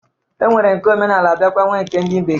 E nwere nke omenala biakwa nwee nke ndị bekee.